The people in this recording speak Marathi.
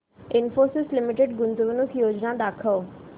इन्फोसिस लिमिटेड गुंतवणूक योजना दाखव